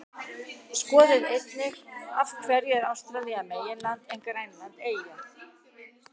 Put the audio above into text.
Skoðið einnig: Af hverju er Ástralía meginland en Grænland eyja?